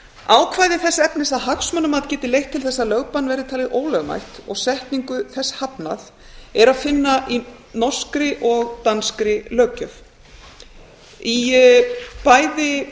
ákvæði þess efnis að hagsmunamat geti leitt til þess að lögbann verði talið ólögmætt og setningu þess hafnað er að finna í norskri og danskri löggjöf í bæði